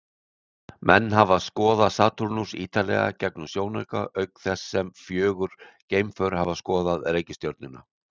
Menn hafa skoðað Satúrnus ýtarlega gegnum sjónauka, auk þess sem fjögur geimför hafa skoðað reikistjörnuna.